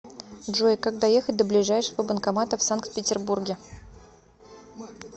джой как доехать до ближайшего банкомата в санкт петербурге